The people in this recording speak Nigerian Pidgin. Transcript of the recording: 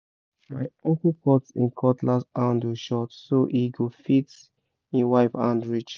my uncle cut him cutlass handle short so e go fit him wife hand reach